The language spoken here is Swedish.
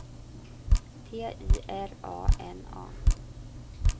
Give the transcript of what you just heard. T I R A N A